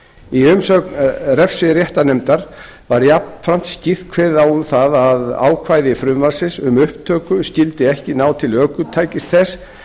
í umsögn refsiréttarnefndar var jafnframt skýrt kveðið á um það að ákvæði frumvarpsins um upptöku skyldi ekki ná til ökutækis þess